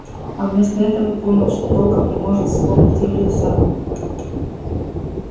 а вместо этого понял что толком не может вспомнить её лица